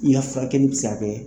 I' la furakɛli bɛ se ka kɛ.